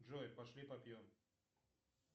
джой пошли попьем